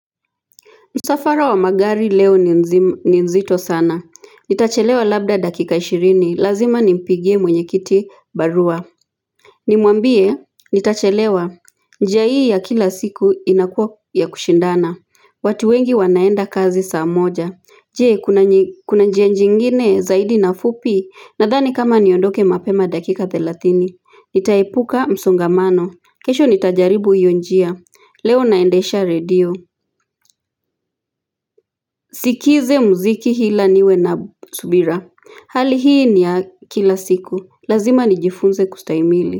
Msafara wa magari leo ni mzi nzito sana. Nitachelewa labda dakika ishirini. Lazima nimpigie mwenye kiti barua. Nimwambie, nitachelewa. Njia hii ya kila siku inakuwa ya kushindana. Watu wengi wanaenda kazi saa moja. Je, kuni kuna njia njingine zaidi na fupi. Nadhani kama niondoke mapema dakika thelathini nitaepuka msongamano. Kesho nitajaribu hiyo njia l Leo naendesha radio. Sikize mziki hila niwe na b subira. Hali hii ni ya kila siku. Lazima nijifunze kustahimili.